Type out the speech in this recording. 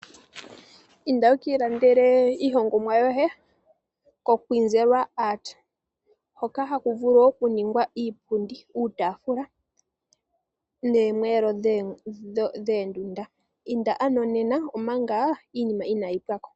Inda wukiilandele iihongomwa yoye koKwizwera art hoka haku vulu okuningwa iipundi, uutaafula noomweelo dhoondunda. Inda ano nena waadhe inaayi pwako.